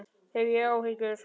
Hef ég áhyggjur?